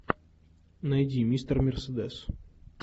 найди мистер мерседес